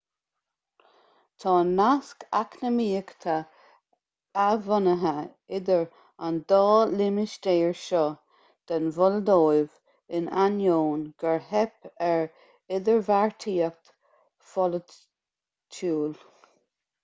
tá naisc eacnamaíocha athbhunaithe idir an dá limistéar seo den mholdóiv in ainneoin gur theip ar idirbheartaíocht pholaitiúil